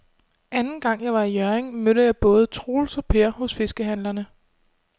Anden gang jeg var i Hjørring, mødte jeg både Troels og Per hos fiskehandlerne.